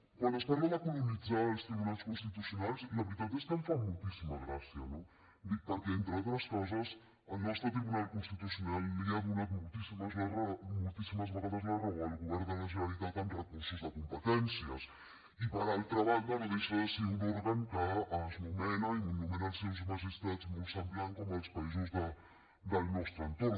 quan ens parla de colonitzar els tribunals constitucionals la veritat és que em fa moltíssima gràcia no perquè entre altres coses el nostre tribunal constitucional li ha donat moltíssimes vegades la raó al govern de la generalitat amb recursos de competències i per altra banda no deixa de ser un òrgan que es nomena i nomenen els seus magistrats molt semblant com els països del nostre entorn